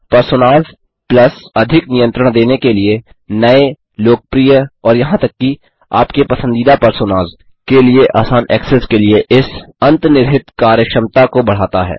personas plus अधिक नियंत्रण देने के लिए नये लोकप्रिय और यहां तक कि आपके पसंदीदा पर्सोनास के लिए आसान एक्सेस के लिए इस अन्तर्निहित कार्यक्षमता को बढ़ाता है